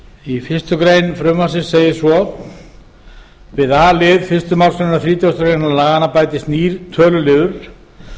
í fyrstu grein frumvarpsins segir svo við a lið fyrstu málsgrein þrítugustu greinar laganna bætist nýr töluliður